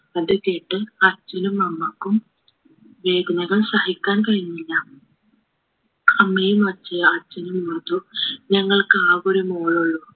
അത് കേട്ട് അച്ഛനും അമ്മക്കും വേദനകൾ സഹിക്കാൻ കഴിഞ്ഞില്ല അമ്മയെയും അച്ചയെ അച്ഛനും മാത്രം ഞങ്ങൾക്ക് ആക ഒരു മോളുള്ളൂ